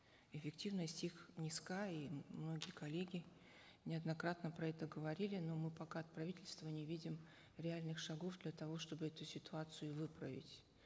эффективность их низка и многие коллеги неоднократно про это говорили но мы пока от правительства не видим реальных шагов для того чтобы эту ситуацию выправить